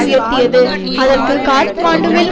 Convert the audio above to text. உயர்த்தியது அதற்கு காத்மாண்டுவில்